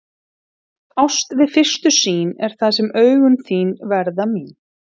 Ást við fyrstu sýn er það þegar augun þín verða mín.